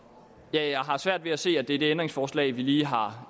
jeg har svært ved at se at det er det ændringsforslag vi lige har